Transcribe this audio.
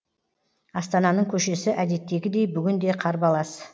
астананың көшесі әдеттегідей бүгін де қарбалас